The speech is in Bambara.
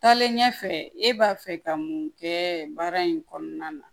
Taalen ɲɛfɛ e b'a fɛ ka mun kɛ baara in kɔnɔna na